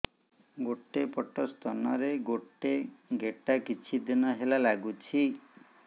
ଗୋଟେ ପଟ ସ୍ତନ ରେ ଗୋଟେ ଗେଟା କିଛି ଦିନ ହେଲା ଲାଗୁଛି